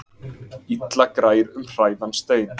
Illa grær um hræðan stein.